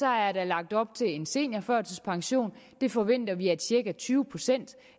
er der lagt op til en seniorførtidspension det forventer vi at cirka tyve procent